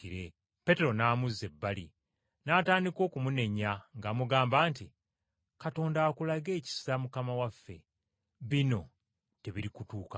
Peetero n’amuzza ebbali n’atandika okumunenya ng’amugamba nti, “Katonda akulage ekisa Mukama waffe. Bino tebirikutuukako.”